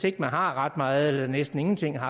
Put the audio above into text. ikke har ret meget eller næsten ingenting er